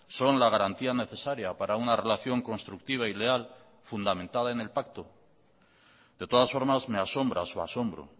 son la garantía necesaria para una relación constructiva y leal fundamentada en el pacto de todas formas me asombra su asombro